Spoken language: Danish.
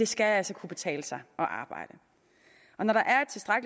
skal kunne betale sig at arbejde og når der er